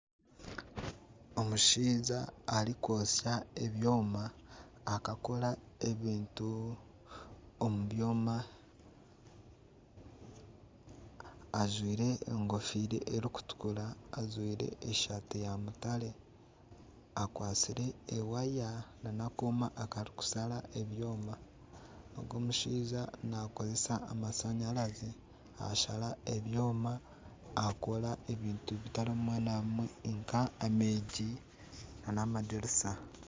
Omushaija arikwosya ebyoma akakora ebintu omu byoma ajwaire enkofiira erikutukura ajwaire esaati ya mutare akwatsire ewaya nana akooma akarikushara ebyoma. Ogu omushaija nakozesa amashanyarazi ashara ebyoma akora ebintu bitari bimwe na bimwe, nka enyigi nana amadirisa.